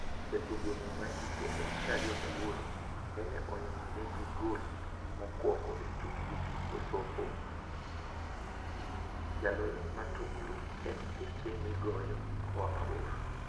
Jatugo ni mahike en 28 nene oloyo negi gol mokwongo e tukgi gi kosovo, jaloyoni matuklu, e mpiche migoyo koa mabor.